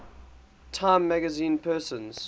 time magazine persons